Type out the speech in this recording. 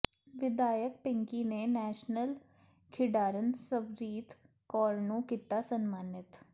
ਵਿਧਾਇਕ ਪਿੰਕੀ ਨੇ ਨੈਸ਼ਨਲ ਖਿਡਾਰਨ ਸਵਰੀਤ ਕੌਰ ਨੂੰ ਕੀਤਾ ਸਨਮਾਨਿਤ